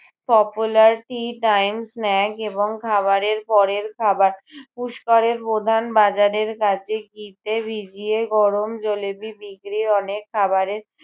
popular tea time snack এবং খাবারের পরের খাবার। পুষ্করের প্রধান বাজারের কাছে ঘিতে ভিজিয়ে গরম জলেবি বিক্রি অনেক খাবারের